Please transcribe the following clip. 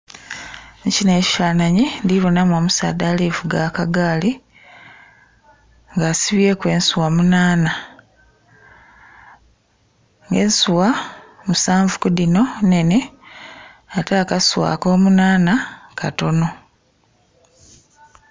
Mukino ekifananhi ndhibonha mu omusaadha alivuga akagaali nga asibyeku ensugha munana, nga ensugha musanvu kudhino nnene ate akasugha ako munana katonho.